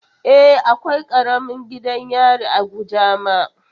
E, akwai karamin gidan yari a Kujama.